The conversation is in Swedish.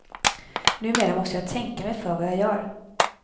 Numera måste jag tänka mig för vad jag gör.